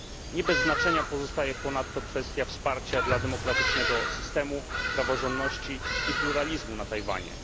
Nie bez znaczenia pozostaje ponadto kwestia wsparcia dla demokratycznego systemu, praworządności i pluralizmu na Tajwanie.